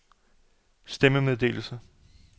stemmemeddelelse